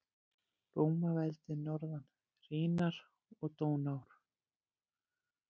Rómaveldis norðan Rínar og Dónár.